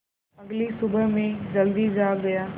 अगली सुबह मैं जल्दी जाग गया